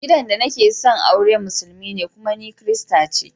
Mai gida da nake son aure musulmi ne amma kuma ni kirista ce.